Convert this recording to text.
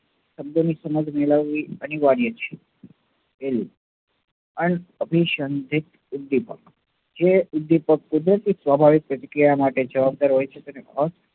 શબ્દોની સમજ મેળવવી અનિવાર્ય છે. ઉદ્દીપક, જે ઉદ્દીપક કુદરતી સ્વાભાવિક જગ્યા માટે જવાબદાર હોય છે તે